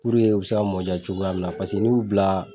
Puruke u bɛ se ka mɔn jaa cogoya min na paseke n'i y'u bila